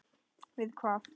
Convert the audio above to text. Við hvað?